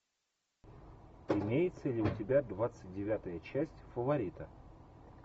имеется ли у тебя двадцать девятая часть фаворита